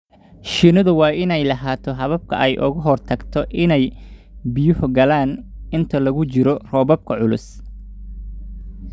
Shinnidu waa inay lahaataa habab ay uga hortagto inay biyuhu galaan inta lagu jiro roobabka culus.